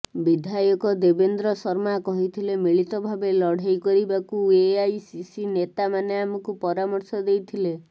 ବିଧାୟକ ଦେବେନ୍ଦ୍ର ଶର୍ମା କହିଥିଲେ ମିଳିତ ଭାବେ ଲଢ଼େଇ କରିବାକୁ ଏଆଇସିସି ନେତାମାନେ ଆମକୁ ପରାମର୍ଶ ଦେଇଥିଲେ